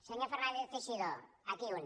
senyor fernández teixidó aquí un